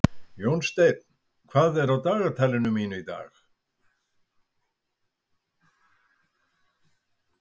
Jónsteinn, hvað er á dagatalinu mínu í dag?